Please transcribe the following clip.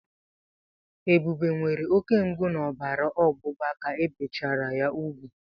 Ebube nwere oke mgbu na ọbara ọgbụgba ka ebichara ya úgwù.